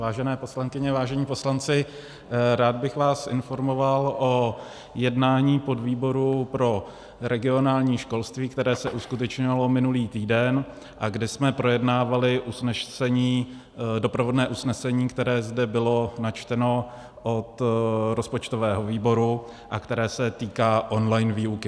Vážené poslankyně, vážení poslanci, rád bych vás informoval o jednání podvýboru pro regionální školství, které se uskutečnilo minulý týden a kde jsme projednávali usnesení, doprovodné usnesení, které zde bylo načteno od rozpočtového výboru a které se týká online výuky.